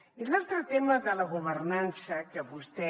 i l’altre tema de la governança que vostè